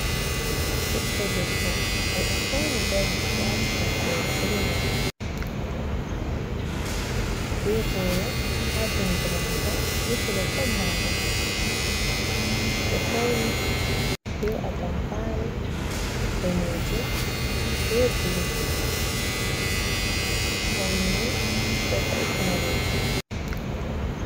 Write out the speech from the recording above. ɓiɗɗo debbo: Oɗo fauni dari waati toggowol jungol be boro ha jungo mako, be telephone mako. Odo fauni be atampare danejum be blue. Paune ni ɗo vo'itina roɓe.